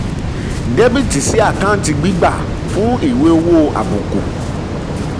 dr sí àkáǹtì gbígbà fún ìwé um owó àbùkù